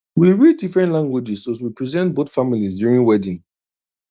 we read different languages to represent both families during wedding